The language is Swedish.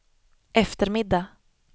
eftermiddag